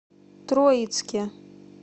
троицке